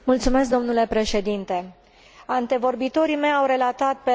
Antevorbitorii mei au relatat pe larg situația din Zimbabwe